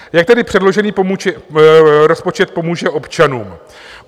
Jak tedy předložený rozpočet pomůže občanům?